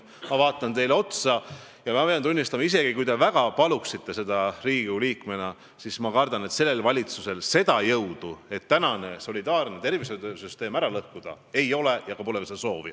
Ma vaatan teile otsa ja pean tunnistama, et isegi kui te väga paluksite seda Riigikogu liikmena, siis ma kardan, et sellel valitsusel ei ole jõudu, et solidaarne tervishoiusüsteem ära lõhkuda, ja pole ka sellist soovi.